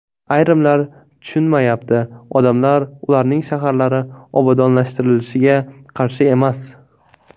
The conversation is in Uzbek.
Ayrimlar tushunmayapti: odamlar ularning shaharlari obodonlashtirilishiga qarshi emas!